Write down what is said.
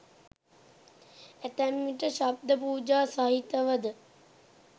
ඇතැම් විට ශබ්ද පූජා සහිතව ද